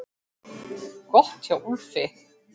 Gott hjá Úlfi!